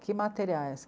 Que materiais?